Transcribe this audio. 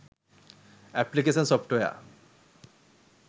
application software